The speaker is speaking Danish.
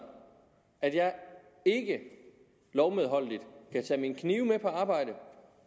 at jeg ikke lovmedholdeligt kan tage mine knive med på arbejdet